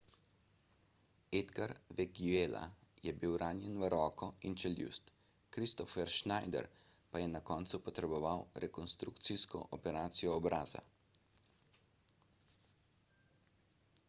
edgar veguilla je bil ranjen v roko in čeljust kristoffer schneider pa je na koncu potreboval rekonstrukcijsko operacijo obraza